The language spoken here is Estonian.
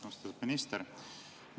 Austatud minister!